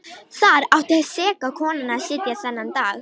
Þar átti seka konan að sitja þennan dag.